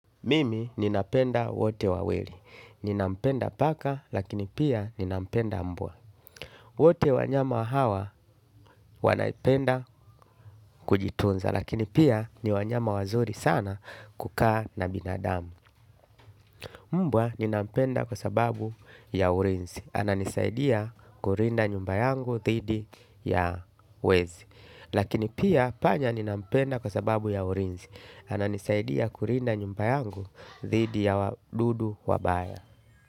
Mimi ninapenda wote wawili. Ninampenda paka lakini pia ninampenda mbwa. Wote wanyama hawa wanapenda kujitunza lakini pia ni wanyama wazuri sana kukaa na binadamu. Mbwa ninapenda kwa sababu ya ulinzi. Ana nisaidia kulinda nyumba yangu dhidi ya wezi. Lakini pia panya ninapenda kwa sababu ya urinzi. Ananisaidia kulinda nyumba yangu dhidi ya wadudu wabaya.